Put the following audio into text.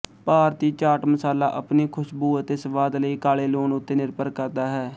ਭਾਰਤੀ ਚਾਟ ਮਸਾਲਾ ਆਪਣੀ ਖੁਸ਼ਬੂ ਅਤੇ ਸਵਾਦ ਲਈ ਕਾਲੇ ਲੂਣ ਉੱਤੇ ਨਿਰਭਰ ਕਰਦਾ ਹੈ